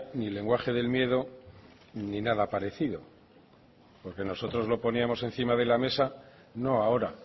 ni lenguaje del miedo ni nada parecido porque nosotros lo poníamos encima de la mesa no ahora